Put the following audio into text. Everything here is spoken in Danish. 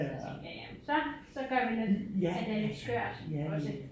Så tænkte jeg ja men så så gør vi at at det er lidt skørt også